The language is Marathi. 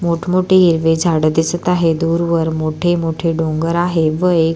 मोठ मोठी हिरवी झाड दिसत आहे दूरवर मोठे मोठे डोंगर आहे व एक --